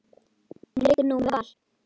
Hún leikur nú með Val.